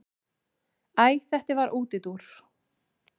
Æ þetta var útúrdúr.